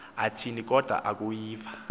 athini kodwa akuyiva